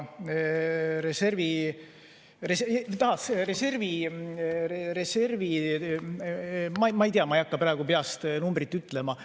Reservi suurust ma ei hakka praegu peast ütlema.